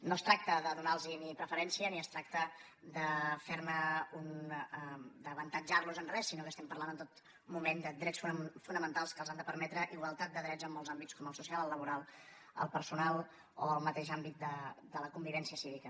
no es tracta de donar los preferència ni es tracta d’avantatjar los en re sinó que estem parlant en tot moment de drets fonamentals que els han de permetre igualtat de drets en molts àmbits com el social el laboral el personal o el mateix àmbit de la convivència cívica